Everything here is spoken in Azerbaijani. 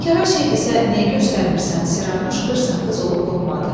Bekara şeydirsə niyə göstərmirsən Siranuş qırsaqqız olub qopmadı.